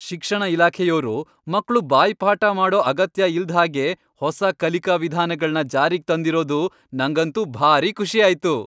ಶಿಕ್ಷಣ ಇಲಾಖೆಯೋರು ಮಕ್ಳು ಬಾಯ್ಪಾಠ ಮಾಡೋ ಅಗತ್ಯ ಇಲ್ದ್ಹಾಗೆ ಹೊಸ ಕಲಿಕಾ ವಿಧಾನಗಳ್ನ ಜಾರಿಗ್ ತಂದಿರೋದು ನಂಗಂತೂ ಭಾರೀ ಖುಷಿ ಆಯ್ತು.